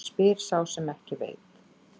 Spyr sá sem ekki veit.